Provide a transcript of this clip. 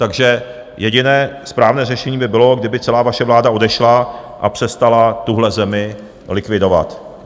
Takže jediné správné řešení by bylo, kdyby celá vaše vláda odešla a přestala tuhle zemi likvidovat.